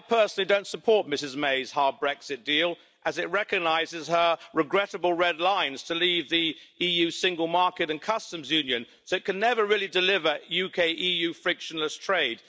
I personally don't support Mrs May's hard Brexit deal as it recognises her regrettable red lines to leave the EU single market and customs union, so it can never really deliver UK-EU frictionless trade.